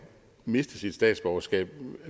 miste sit statsborgerskab